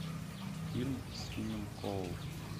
фильм с финном коул